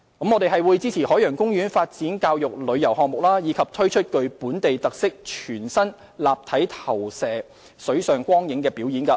我們會支持海洋公園發展教育旅遊項目，推出具本地特色的全新立體投射水上光影表演。